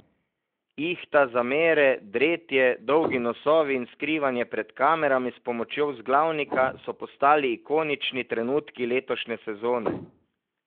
Ihta, zamere, dretje, dolgi nosovi in skrivanje pred kamerami s pomočjo vzglavnika so postali ikonični trenutki letošnje sezone.